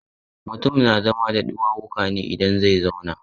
Mutum na zama da ɗuwawuka ne idan zai zauna.